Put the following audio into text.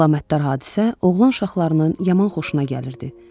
Bu əlamətdar hadisə oğlan uşaqlarının yaman xoşuna gəlirdi.